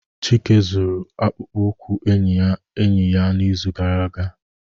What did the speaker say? Chike zuru akpụkpọ ụkwụ enyi enyi ya n'izu gara aga